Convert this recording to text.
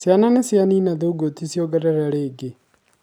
ciana nicianina thugoti ciongerere rĩngĩ